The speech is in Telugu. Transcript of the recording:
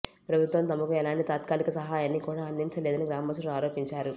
ప్రభుత్వం తమకు ఎలాంటి తాత్కాలిక సహాయాన్ని కూడా అందించలేదని గ్రామస్థులు ఆరోపించారు